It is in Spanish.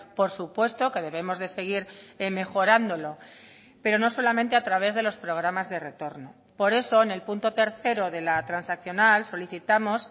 por supuesto que debemos de seguir mejorándolo pero no solamente a través de los programas de retorno por eso en el punto tercero de la transaccional solicitamos